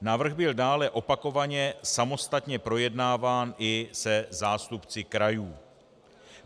Návrh byl dále opakovaně samostatně projednáván i se zástupci krajů.